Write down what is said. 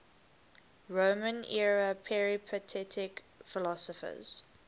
roman era peripatetic philosophers